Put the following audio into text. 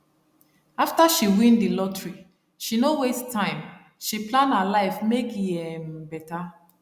after she win the lottery she no waste timeshe plan her life make e um better